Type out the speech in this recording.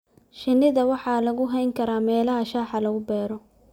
Shinnida waxa lagu hayn karaa meelaha shaaha lagu beero.